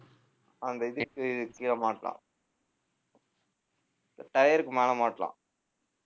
அந்த இதுக்கு கீழ மாட்டலாம் tire க்கு மேல மாட்டலாம்.